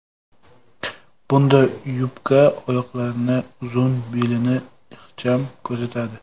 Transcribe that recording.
Bunday yubka oyoqlarni uzun, belni ixcham ko‘rsatadi.